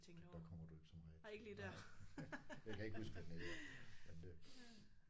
Der kommer du ikke som regel nej jeg kan ikke huske hvad den hedder men det